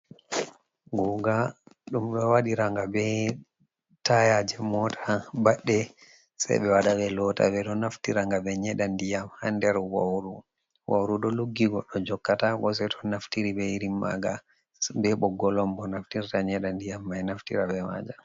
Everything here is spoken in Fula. Guuga, ɗum ɗo wadira nga be tayaje mota baɗɗe, sei ɓe waɗa ɓe lota. Ɓe ɗo naftira nga ɓe nyeɗa ndiyam haa nder wauru. Wauru ɗo luggi goɗɗo jokkataako sei to naftiri be irin maga, be ɓoggol on bo naftirta nyeɗa ndiyam mai, naftira be majam.